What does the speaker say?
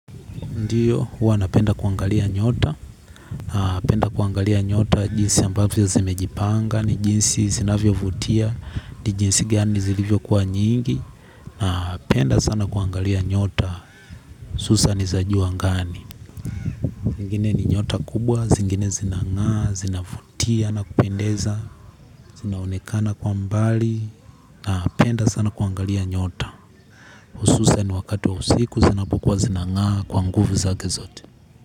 Ndio huwa napenda kuangalia nyota. Napenda kuangalia nyota jinsi ambavyo zimejipanga ni jinsi zinafyo vutia. Ni jinsi gani zilivyo kuwa nyingi. Napenda sana kuangalia nyota. Susa n zajua angani. Ingine ni nyota kubwa. Zingine zinangaa zinavutia nakupendeza. Zinaonekana kwa mbali. Napenda sana kuangalia nyota. Ususa n wakati wa usiku. Zinapokuwa zinangaa kwa nguvu zakezote.